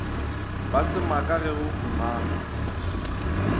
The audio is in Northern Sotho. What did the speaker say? ba semaka ge go humanwa